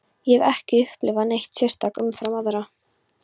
Ég hef ekki upplifað neitt sérstakt umfram aðra.